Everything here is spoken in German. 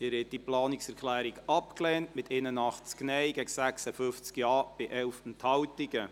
Sie haben diese Planungserklärung abgelehnt, mit 81 Nein- gegen 56 Ja-Stimmen bei 11 Enthaltungen.